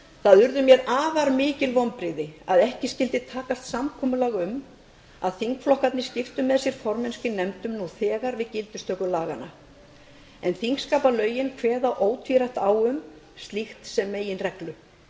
það urðu mér því afarmikil vonbrigði að ekki skyldi takast samkomulag um að þingflokkarnir skipti með sér formennsku í nefndunum nú þegar við gildistöku laganna en þingskapalögin kveða ótvírætt á um slíkt sem meginreglu